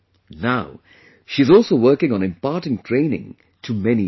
Now, she is also working on imparting training to many women